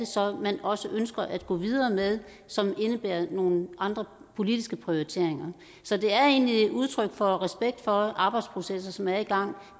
så er man også ønsker at gå videre med som indebærer nogle andre politiske prioriteringer så det er egentlig et udtryk for respekt for arbejdsprocessen som er i gang